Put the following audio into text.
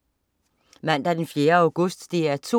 Mandag den 4. august - DR 2: